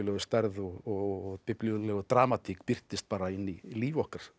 stærð og dramatík birtist bara inni í líf okkar